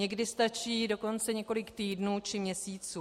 Někdy stačí dokonce několik týdnů či měsíců.